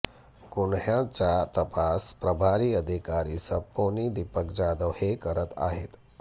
गुन्ह्याचा तपास प्रभारी अधिकारी सपोनि दीपक जाधव हे करत आहेत